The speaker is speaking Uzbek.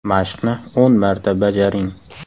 Mashqni o‘n marta bajaring.